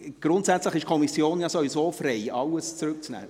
Grundsätzlich ist die Kommission sowieso frei, alles zurückzunehmen.